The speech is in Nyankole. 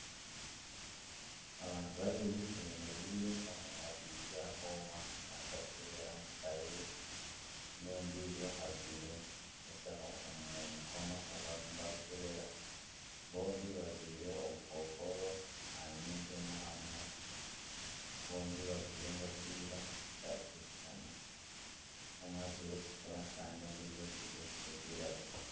Abantu babiri bemereire omwe akwaitse aha koma naaza kukyebera mutaahi we, n'ondiijo ajwaire enshaho omu mukono ogu barimu nibakukyebera. Bombi bajwaire obukookoro aha nyindo n'aha munwa, bombi bajwaire engofiira zitari kushushana. Omwe ajwaire erikutukura kandi ondiijo ajwaire erikwiragura.